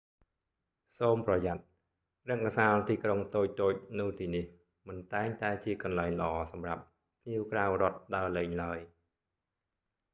សូមប្រយ័ត្ន៖ រង្គសាលទីក្រុងតូចៗនៅទីនេះមិនតែងតែជាកន្លែងល្អសម្រាប់ភ្ញៀវក្រៅរដ្ឋដើរលេងឡើយ